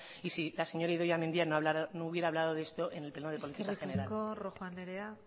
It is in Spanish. y si la señora idoia mendia no hubiera hablado de esto en el pleno de política general eskerrik asko rojo andrea